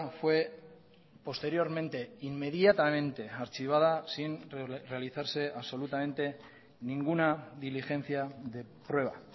fue posteriormente inmediatamente archivada sin realizarse absolutamente ninguna diligencia de prueba